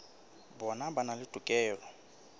bona ba na le tokelo